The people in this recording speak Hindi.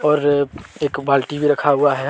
और एक बाल्टी भी रखा हुआ है।